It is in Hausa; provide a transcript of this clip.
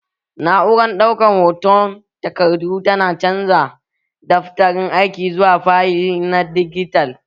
Na'urar ɗaukar hotan takardu tana canza daftarin aiki zuwa fayil na dijital